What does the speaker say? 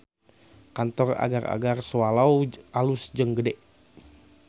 Kantor Agar-agar Swallow alus jeung gede